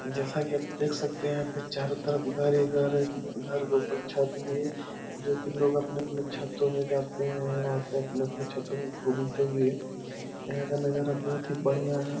जैसा की आप देख सकते है यहाँ पे चारो तरफ घर ही घर है घर के ऊपर छत भी है जो की लोग अपने-अपने छतो में जाते हैं और अपने-अपने छतो में घूमते भी है यहाँ का नजारा बहुत ही बढ़िया है।